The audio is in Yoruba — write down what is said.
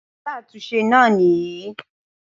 Alátúnse náà nìyí